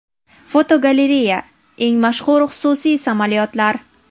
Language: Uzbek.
Fotogalereya: Eng mashhur xususiy samolyotlar.